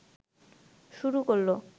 শুরু করল